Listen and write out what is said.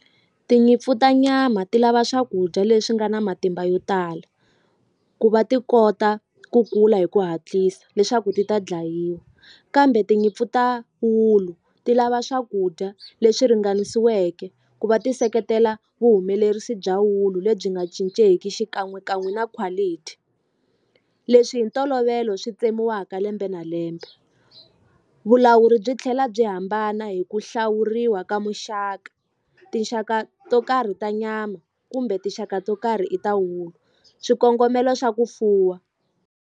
Tinyimpfu ta nyama ti lava swakudya leswi nga na matimba yo tala ku va ti kota ku kula hi ku hatlisa leswaku ti ta dlayiwa kambe tinyimpfu ta wulu ti lava swakudya leswi ringanisiweke ku va ti seketela vuhumelerisi bya wulu lebyi nga cincenki xikan'wekan'we na quality leswi hi ntolovelo swi tsemiwaka lembe na lembe vulawuri byi tlhela byi hambana hi ku hlawuriwa ka muxaka tinxaka to karhi ta nyama kumbe tinxaka to karhi i ta wuku swikongomelo swa ku fuwa.